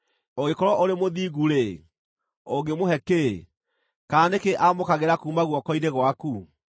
Ũngĩkorwo ũrĩ mũthingu-rĩ, ũngĩmũhe kĩĩ, kana nĩ kĩĩ aamũkagĩra kuuma guoko-inĩ gwaku?